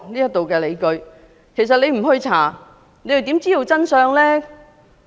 如不進行調查，又如何知道真相呢？